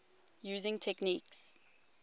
using techniques